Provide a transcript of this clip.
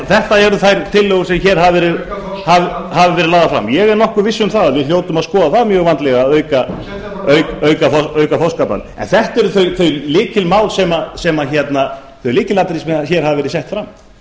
þetta eru þær tillögur sem hér hafa verið lagðar fram ég er nokkuð viss um að við hljótum að skoða það mjög vandlega að auka en þetta eru þau lykilatriði sem hér hafa verið sett fram það